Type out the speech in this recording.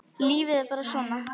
Lífið er bara svona.